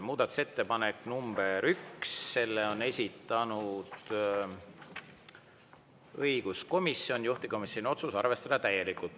Muudatusettepanek nr 1, selle on esitanud õiguskomisjon, juhtivkomisjoni otsus: arvestada täielikult.